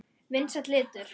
Vinsæll litur.